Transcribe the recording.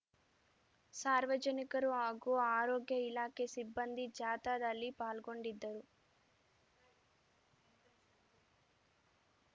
ಸಾರ್ವಜನಿಕರು ಹಾಗೂ ಆರೋಗ್ಯ ಇಲಾಖೆ ಸಿಬ್ಬಂದಿ ಜಾಥಾದಲ್ಲಿ ಪಾಲ್ಗೊಂಡಿದ್ದರು